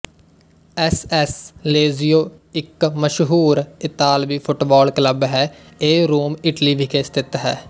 S S Lazio ਇੱਕ ਮਸ਼ਹੂਰ ਇਤਾਲਵੀ ਫੁੱਟਬਾਲ ਕਲੱਬ ਹੈ ਇਹ ਰੋਮ ਇਟਲੀ ਵਿਖੇ ਸਥਿਤ ਹੈ